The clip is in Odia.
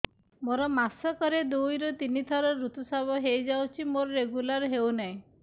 ମୋର ମାସ କ ରେ ଦୁଇ ରୁ ତିନି ଥର ଋତୁଶ୍ରାବ ହେଇଯାଉଛି ମୋର ରେଗୁଲାର ହେଉନାହିଁ